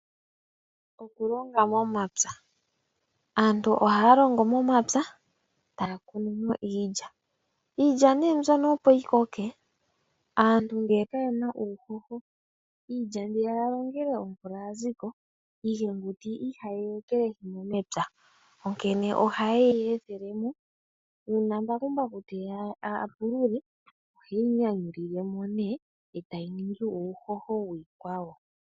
Okulonga momapya, aantu ohaya longo momapya taya mono mo iilya. Iilya mbyono opo yi koke aantu ngele kaye na uuhoho iilya mbi ya longele omvula ya za ko iihenguti ihaye yi ekelehi mo mepya. Ohaye yi ethele mo uuna mbakumbaku teya a pulule ohe yi nyanyulile mo e tayi ningi uuhoho wiikwawo.